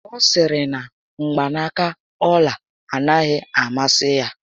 Ọ sịrị na mgbanaka ọla anaghị amasị ya